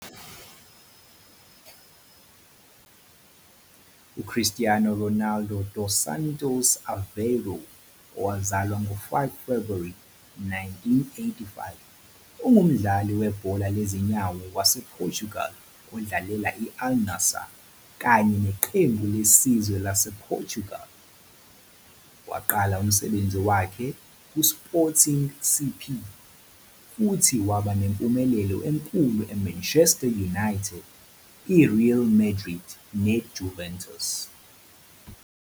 UCristiano Ronaldo dos Santos Aveiro, owazalwa ngo-5 February 1985, ungumdlali webhola lezinyawo wasePortugal odlalela i-Al-Nassr kanye neqembu lesizwe lasePortugal. Waqala umsebenzi wakhe ku-Sporting CP, futhi waba nempumelelo enkulu eManchester United, I-Real Madrid naseJuventus.